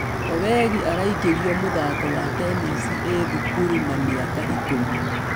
Owegi araingĩririo mũthako wa tennis ĩĩ thukuru na mĩaka ikũmi.